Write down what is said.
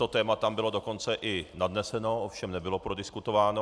To téma tam bylo dokonce i nadneseno, ovšem nebylo prodiskutováno.